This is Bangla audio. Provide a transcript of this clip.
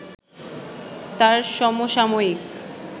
তাঁর সমসাময়িক